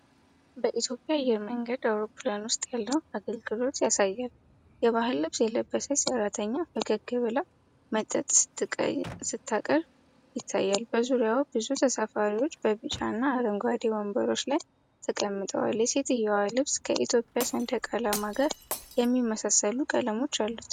በኢትዮጵያ አየር መንገድ አውሮፕላን ውስጥ ያለውን አገልግሎት ያሳያል። የባህል ልብስ የለበሰች ሰራተኛ ፈገግ ብላ መጠጥ ስታቀርብ ይታያል። በዙሪያዋ ብዙ ተሳፋሪዎች በቢጫና አረንጓዴ ወንበሮች ላይ ተቀምጠዋል። የሴትዮዋ ልብስ ከኢትዮጵያ ሰንደቅ ዓላማ ጋር የሚመሳሰሉ ቀለሞች አሉት።